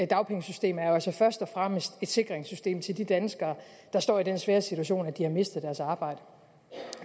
dagpengesystem altså først og fremmest er et sikringssystem til de danskere der står i den svære situation at de har mistet deres arbejde